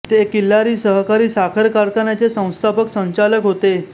ते किल्लारी सहकारी साखर कारखान्याचे संस्थापक संचालक होते